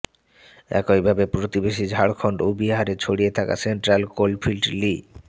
একইভাবে প্রতিবেশী ঝাড়খণ্ড ও বিহারে ছড়িয়ে থাকা সেন্ট্রাল কোলফিল্ড লি